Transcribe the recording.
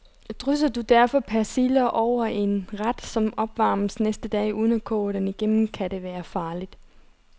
Drysser du derfor persille over en ret, som opvarmes næste dag, uden at koge den igennem, kan det være farligt.